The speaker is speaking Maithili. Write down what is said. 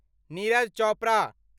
नीरज चोपड़ा